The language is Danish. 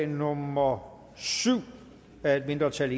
nummer syv af et mindretal og